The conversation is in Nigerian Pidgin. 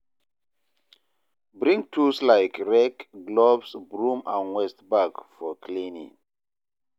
Bring tools like rake, gloves, broom and waste bag for cleaning.